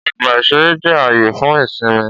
Ọgbà-ìṣeré jẹ́ ààyè fún ìsinmi